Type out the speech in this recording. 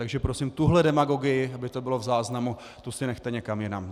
Takže prosím, tuhle demagogii, aby to bylo v záznamu, tu si nechte někam jinam!